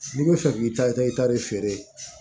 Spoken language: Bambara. N'i bɛ fɛ k'i ta i ta i ta de feere